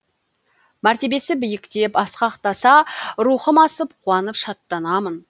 мәртебесі биіктеп асқақтаса рухым асып қуанып шаттанамын